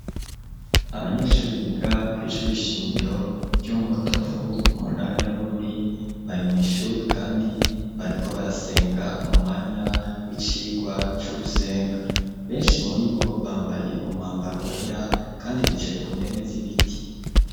Abanyeshure biga kw'ishure nshingiro ryo mu Rutovu, mu ntara ya Bururi, bari mw'ishure kandi bariko barasenga mu mwanya w'icigwa co gusenga. Benshi muribo bambaye umwambaro wera kandi bicaye ku ntebe z'ibiti.